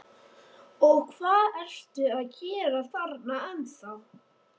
Og hvað ertu að gera þarna ennþá?